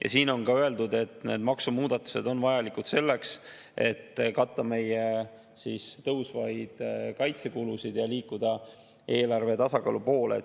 Ja selles on öeldud, et need maksumuudatused on vajalikud selleks, et katta meie tõusvaid kaitsekulusid ja liikuda eelarvetasakaalu poole.